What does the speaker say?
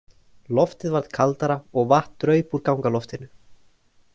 Loftið varð kaldara og vatn draup úr gangaloftinu.